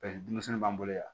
denmisɛnnu b'an bolo yan